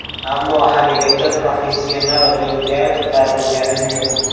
Ammo haligacha professional ringga ko‘tarilganim yo‘q.